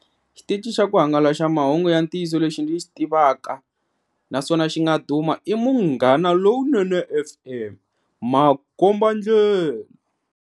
Xitichi xa ku hangalasa mahungu ya ntiyiso lexi ndzi xi tivaka naswona xi nga duma i Munghanalonene F_M, makombandlela.